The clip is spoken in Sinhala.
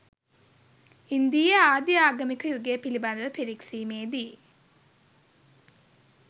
ඉන්දීය ආදි ආගමික යුගය පිළිබඳව පිරික්සීමේදී